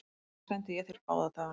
Þess vegna sendi ég þér báða dagana.